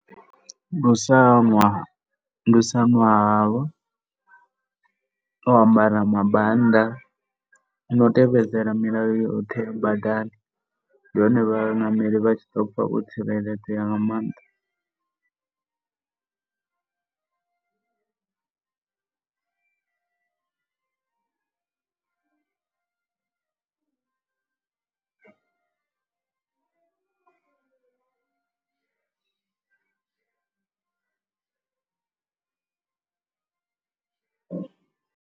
Ndi u sa ṅwa, ndi u sa ṅwa halwa na u ambara mambanda no u tevhedzela milayo yoṱhe badani. Ndi hone vhaṋameli vha tshi ḓo pfha vho tsireledzea nga maanḓa.